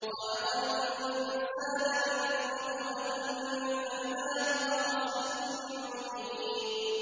خَلَقَ الْإِنسَانَ مِن نُّطْفَةٍ فَإِذَا هُوَ خَصِيمٌ مُّبِينٌ